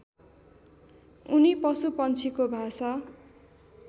उनी पशुपन्छीको भाषा